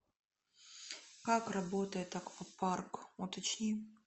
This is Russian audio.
как работает аквапарк уточни